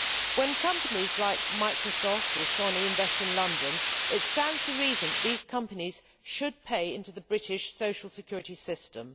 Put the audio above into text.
When companies like Microsoft or Sony invest in London it stands to reason that these companies should pay into the British social security system.